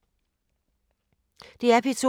DR P2